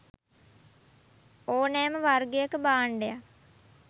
ඕනෑම වර්ගයක භාණ්ඩයක්